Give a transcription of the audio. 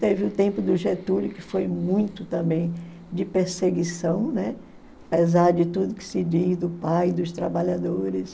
Teve o tempo do Getúlio, que foi muito também de perseguição, né, apesar de tudo que se diz do pai, dos trabalhadores.